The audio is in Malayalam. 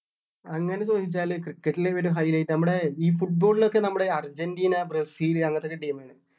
അങ്ങനെ ചോദിച്ചാല് cricket ല് പിന്നെ high light നമ്മുടെ football ലൊക്കെ നമ്മുടെ ഈ അർജന്റീന ബ്രസീല് അങ്ങനത്തെ ഒക്കെ team ആണ്